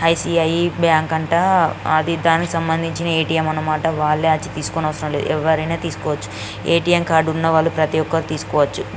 I C I bank అంట దాని కి సంబందించిన ఏ టి ఏం అనమాట వాలే వచ్చి తీస్కోవచ్చు ఎవరైనా తీస్కోవచ్చు ఏ టి ఏం కార్డు ఉన్న వాళ్ళు ఎవరైనా తీస్కోవచ్చు --